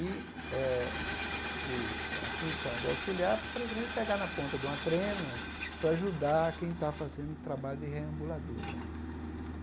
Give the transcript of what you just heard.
E eh o a função do auxiliar é praticamente pegar na ponta de uma trena para ajudar a quem está fazendo trabalho de reambulador.